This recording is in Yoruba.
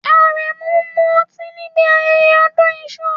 Aremu mu oti níbi ayẹyẹ odun isu